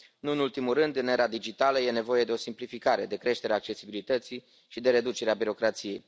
Nu în ultimul rând, în era digitală e nevoie de o simplificare, de creșterea accesibilității și de reducerea birocrației.